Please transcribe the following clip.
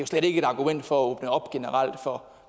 slet ikke et argument for